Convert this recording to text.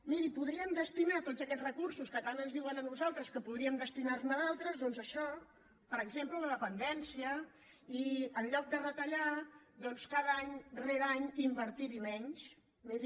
miri podrien destinar tots aquests recursos que tant ens diuen a nosaltres que podríem destinar ne d’altres doncs a això per exemple a la dependència i en lloc de retallar any rere any invertir hi menys miri